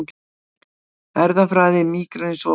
Erfðafræði mígrenis opinberuð